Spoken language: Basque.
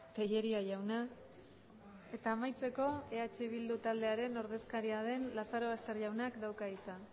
tellería jauna eta amaitzeko eh bildu taldearen ordezkaria den lazarobaster jaunak dauka hitza